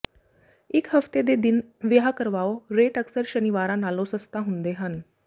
ਇੱਕ ਹਫ਼ਤੇ ਦੇ ਦਿਨ ਵਿਆਹ ਕਰਵਾਓ ਰੇਟ ਅਕਸਰ ਸ਼ਨੀਵਾਰਾਂ ਨਾਲੋਂ ਸਸਤਾ ਹੁੰਦੇ ਹਨ